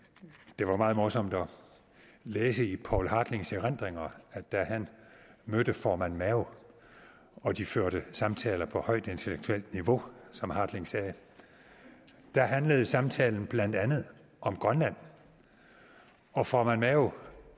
det var meget morsomt at læse i poul hartlings ændringer at da han mødte formand mao og de førte samtaler på højt intellektuelt niveau som hartling sagde handlede samtalen blandt andet om grønland og formand mao